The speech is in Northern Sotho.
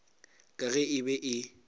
ka ge e be e